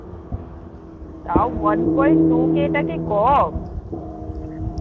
তাও one point two K টা কি কম?